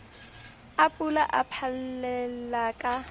a pula a phallella ka